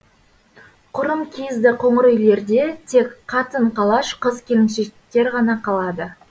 құрым киізді қоңыр үйлерде тек қатын қалаш қыз келіншектер ғана қалады